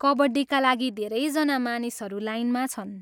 कबड्डीका लागि धेरैजना मानिसहरू लाइनमा छन्।